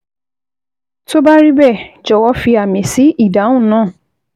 Tó bá rí bẹ́ẹ̀, jọ̀wọ́ fi àmì sí ìdáhùn náà